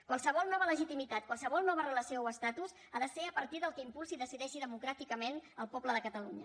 qualsevol nova legitimitat qualsevol nova relació o estatus han de ser a partir del que impulsi i decideixi democràticament el poble de catalunya